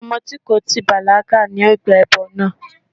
Ọmọ tí kò tíì bàlágà ni ó gbé ẹbọ náà.